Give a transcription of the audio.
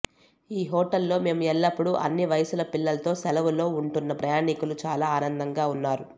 ఈ హోటల్ లో మేము ఎల్లప్పుడూ అన్ని వయస్సుల పిల్లలతో సెలవులో ఉంటున్న ప్రయాణికులు చాలా ఆనందంగా ఉన్నారు